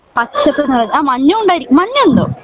പച്ചപ്പ് ആഹ് മഞ്ഞും ഉണ്ടായിരിക്കും മഞ്ഞ് ഉണ്ടോ?